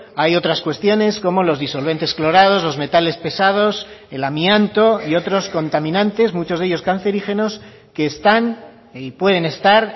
hay otras cuestiones como los disolventes clorados los metales pesados el amianto y otros contaminantes muchos de ellos cancerígenos que están y pueden estar